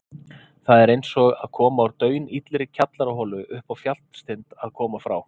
Það er einsog að koma úr daunillri kjallaraholu uppá fjallstind að koma frá